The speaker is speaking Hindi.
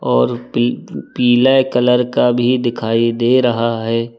और पी पीले कलर का भी दिखाई दे रहा है।